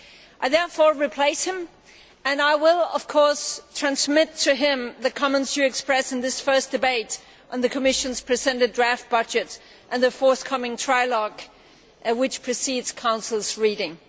I therefore replace him and I will of course transmit to him the comments which you express in this first debate on the Commission's presented draft budget and the forthcoming trilogue which precedes Council's reading.